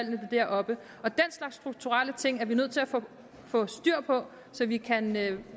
dem deroppe og den slags strukturelle ting er vi nødt til at få styr på så vi kan lave